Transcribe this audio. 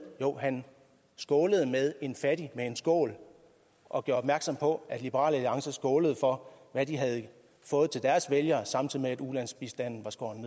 jo han skålede med en fattig og gjorde opmærksom på at liberal alliance skålede for hvad de havde fået til deres vælgere samtidig med at ulandsbistanden var skåret